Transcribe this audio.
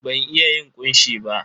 Ban iya yin ƙunshi ba.